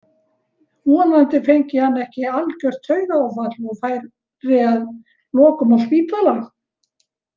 Vonandi fengi hann ekki algjört taugaáfall og færi að lokum á spítala.